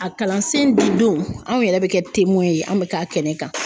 A kalansen di don anw yɛrɛ bɛ kɛ ye anw bɛ ka kɛnɛ kan.